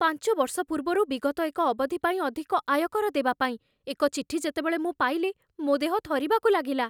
ପାଞ୍ଚ ବର୍ଷ ପୂର୍ବରୁ ବିଗତ ଏକ ଅବଧି ପାଇଁ ଅଧିକ ଆୟକର ଦେବା ପାଇଁ ଏକ ଚିଠି ଯେତେବେଳେ ମୁଁ ପାଇଲି, ମୋ ଦେହ ଥରିବାକୁ ଲାଗିଲା।